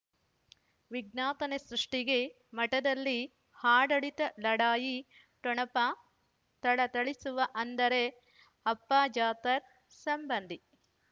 ವಿಜ್ಞಾಪನೆ ಸೃಷ್ಟಿಗೆ ಮಠದಲ್ಲಿ ಆಡಳಿತ ಲಢಾಯಿ ಠೊಣಪ ಥಳಥಳಿಸುವ ಅಂದರೆ ಅಪ್ಪ ಜಾಫರ್ ಸಂಬಂಧಿ